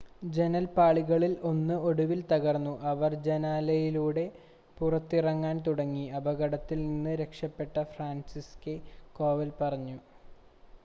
"ജനൽപ്പാളികളിൽ ഒന്ന് ഒടുവിൽ തകർന്നു അവർ ജനാലയിലൂടെ പുറത്തിറങ്ങാൻ തുടങ്ങി," അപകടത്തിൽ നിന്ന് രക്ഷപ്പെട്ട ഫ്രാൻസിസ്സെക് കോവൽ പറഞ്ഞു.